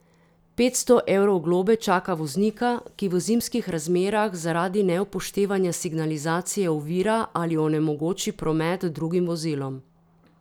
Petsto evrov globe čaka voznika, ki v zimskih razmerah zaradi neupoštevanja signalizacije ovira ali onemogoči promet drugim vozilom.